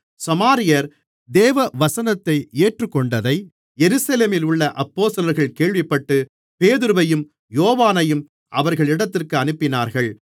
சமாரியர் தேவவசனத்தை ஏற்றுக்கொண்டதை எருசலேமிலுள்ள அப்போஸ்தலர்கள் கேள்விப்பட்டு பேதுருவையும் யோவானையும் அவர்களிடத்திற்கு அனுப்பினார்கள்